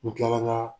N kilala ka